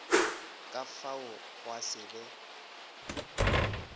ka fao gwa se be